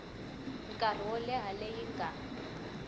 nkarhi wo leha leyi nga